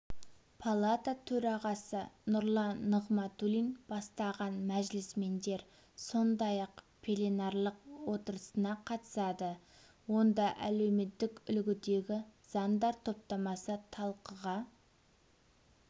палата төрағасы нұрлан нығматулин бастаған мәжілісмендер сондай-ақ пленарлық отырысына қатысады онда әлеуметтік үлгідегі заңдар топтамасы талқыға